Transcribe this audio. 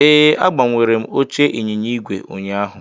Ee, agbanwere m oche ịnyịnya ígwè ụnyaahụ